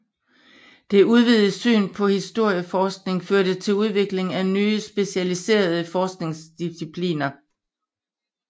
Det udvidede syn på historieforskning førte til udviklingen af nye specialiserede forskningsdiscipliner